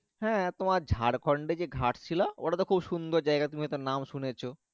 হ্যাঁ তোমার ঝাড়খন্ড এ ঘাট শিলা ওটা তো খুব সুন্দর জায়গা তুমি ওটার নাম শুনেছ।